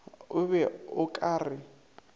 o be o ka re